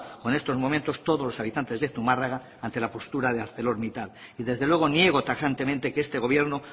o en estos momentos todos los habitantes de zumarraga ante la postura de arcelormittal y desde luego niego tajantemente que este gobierno